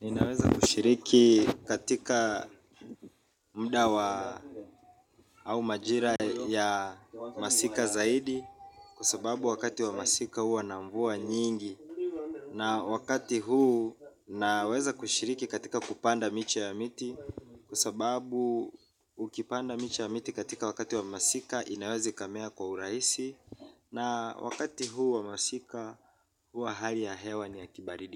Ninaweza kushiriki katika mda wa au majira ya masika zaidi. Kwa sababu wakati wa masika huwa na mvua nyingi. Na wakati huu naweza kushiriki katika kupanda miche ya miti. Kwa sababu ukipanda miche ya miti katika wakati wa masika inawezi ikamea kwa uraisi. Na wakati huu wa masika huua hali ya hewa ni ya